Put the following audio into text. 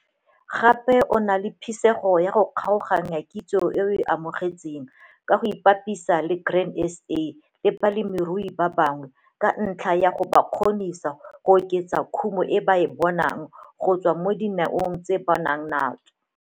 Gape o na le phisego ya go kgaoganya kitso e a e amogetseng ka go ipapisa le Grain SA le balemirui ba bangwe ka ntlha ya go ba kgonisa go oketsa kumo e ba ka e bonang go tswa mo dineong tse ba nang tsona.